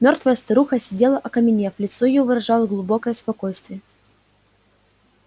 мёртвая старуха сидела окаменев лицо её выражало глубокое спокойствие